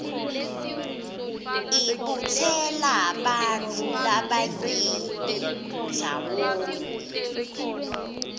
ibutsela bantfu labanyeni ndzawonye